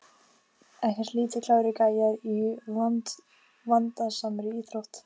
Ekkert lítið klárir gæjar í vandasamri íþrótt!